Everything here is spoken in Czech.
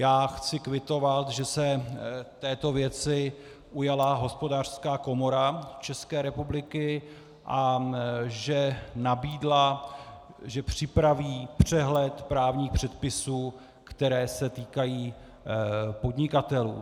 Já chci kvitovat, že se této věci ujala Hospodářská komora České republiky a že nabídla, že připraví přehled právních předpisů, které se týkají podnikatelů.